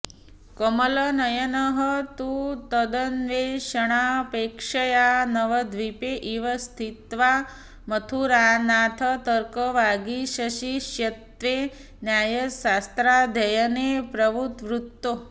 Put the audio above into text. कमलनयनः तु तदन्वेषणापेक्षया नवद्वीपे एव स्थित्वा मथुरानाथतर्कवागीशशिष्यत्वे न्यायशास्त्राध्ययने प्रववृतौ